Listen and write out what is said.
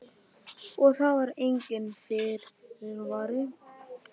Sindri: Og það var enginn fyrirvari?